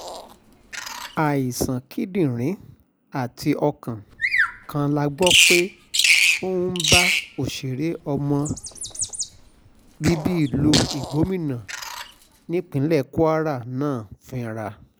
àìsàn kíndìnrín àti ọkàn kan la gbọ́ pé ó ń bá òṣèré ọmọ bíbí ìlú igbómìnà nípìnlẹ̀ kwara náà fínra